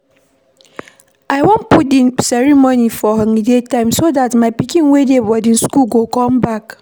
I wan put the ceremony for holiday time so dat my pikin wey dey boarding school go come back.